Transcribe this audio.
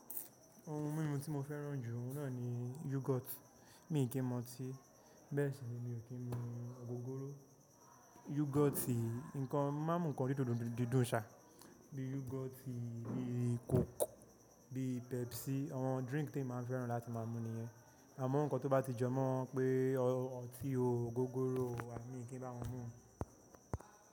Ohun mímu tí mo fẹ́ràn jù, òun náà ni yogurt. Mi kì í mu ọtí, bẹ́ẹ̀ sì ni mi ò kí ń mu ògógóró. Yogurt, nǹkan má ń mú nǹkan dídùn ṣá, bíi yogurt, bíi coke, bíi Pepsi, àwọn drink tí èmi máa fẹ́ràn láti má a mu nìyẹn. Àmọ́ ǹkan tó bá ti jọ mọ́ pé ọtí ògógóró wa, èmi kì í bá wọn mú.